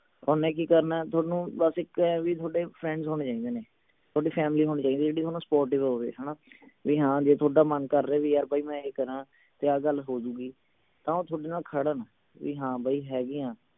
ਓਹਨੇ ਕਿ ਕਰਨੇ ਥੋਨੂੰ ਬਸ ਇਕ ਹੈ ਵੀ ਥੋਡੇ friends ਹੋਣੇ ਚਾਹੀਦੇ ਨੇ ਥੋਡੀ family ਹੋਣੀ ਚਾਹੀਦੀ ਜਿਹੜੀ ਥੋਨੂੰ supportive ਹੋਵੇ ਹਣਾ ਵੀ ਹਾਂ ਜੇ ਥੋਡਾ ਮਨ ਕਰ ਰਿਹੇ ਵੀ ਯਾਰ ਬਾਈ ਮੈਂ ਇਹ ਕਰਾਂ ਤੇ ਆਹ ਗੱਲ ਹੋ ਜਾਊਗੀ ਤਾਂ ਉਹ ਥੋਡੇ ਨਾਲ ਖੜਨ ਵੀ ਹਾਂ ਬਈ ਹੈਗੇ ਆ